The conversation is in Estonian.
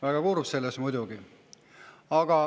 Väga kurb muidugi.